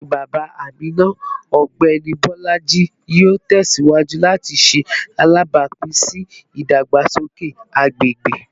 Bawo ni baba Amina, Ọgbẹni Bolaji, yoo tẹsiwaju lati ṣe alabapin si idagbasoke agbegbe?